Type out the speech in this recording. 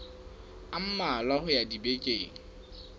a mmalwa ho ya dibekeng